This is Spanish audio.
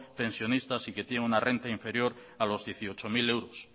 pensionistas y que tienen una renta inferior a los dieciocho mil euros